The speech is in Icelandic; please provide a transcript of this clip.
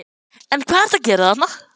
En hvað ertu að gera þarna?